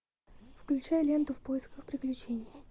включай ленту в поисках приключений